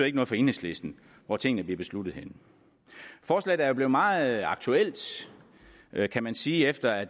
ikke noget for enhedslisten hvor tingene bliver besluttet henne forslaget er blevet meget aktuelt kan man sige efter at